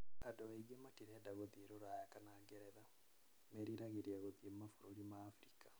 Andũ aingĩ matirenda gũthiĩ Rũraya kana Ngeretha. Meriragĩria gũthiĩ mabũrũri ma Abirika.